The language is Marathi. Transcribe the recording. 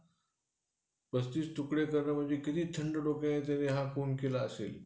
हम्म